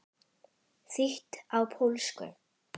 Þýtt á pólsku.